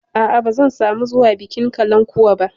A'a, ba zan samu zuwa bikin kalankuwa ba.